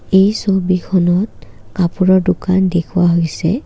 এই ছবিখনত কাপোৰৰ দোকান দেখুৱা হৈছে।